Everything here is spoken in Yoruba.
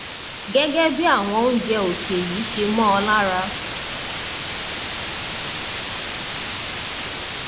gẹgẹ bí àwọn oúnjẹ òkè yìí ṣe mọ ọ lára